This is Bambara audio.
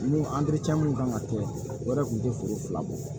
Ni mun kan ka kɛ o yɛrɛ kun tɛ foro fila bɔ